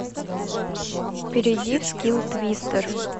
перейди в скилл твистер